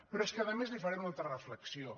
però és que a més li faré una altra reflexió